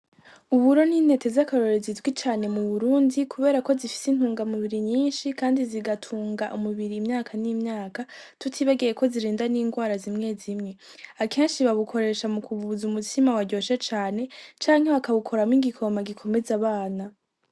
Uburo n'intete z'akarorero zizwi cane mu Burundi kubera ko zifise intunga mu biri nyishi kandi zigatunga umubiri imyaka n'imyaka, tutibagiye ko zirinda n'ingwara zimwe zimwe. Akenshi babukoresha mukubuza umutsima waryoshe cane canke baka wukoramwo igikoma gikomeza abana.